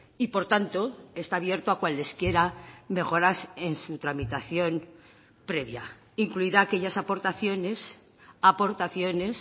y por tanto está abierto a cualesquiera mejoras en su tramitación previa incluida aquellas aportaciones aportaciones